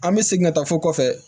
An bɛ segin ka taa fo kɔfɛ